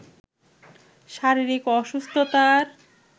শারীরিক অসুস্থতার